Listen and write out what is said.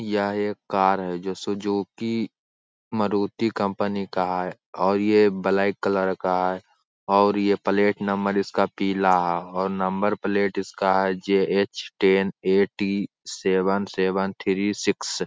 यह एक कार है जो सुजुकी मारुति कंपनी का है और यह ब्लैक कलर का है और यह प्लेट नंबर इसका पीला है और नंबर प्लेट इसका है K. J. H. Ten. Eight .T .seven seven three six.